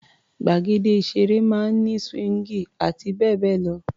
Gbàgede ìṣeré máa ń ní síwíńgì àti bẹ́ẹ̀ bẹ́ẹ̀ lọ.